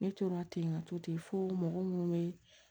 Ne tora ten ka to ten fo mɔgɔ munnu be